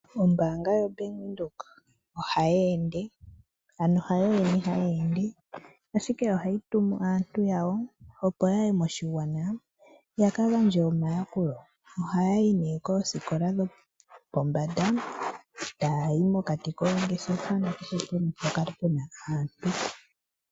Ombaanga yoBank Windhoek ohayi ende, hayo yene hayi ende ashike ohayi tumu aaniilonga yawo, opo ya ye moshigwana ya ka gandje omayakulo. Ohaya yi nduno kiiputudhilo yopombanda, taya yi mokati koongeshefa nakehe pamwe mpoka pu na aantu.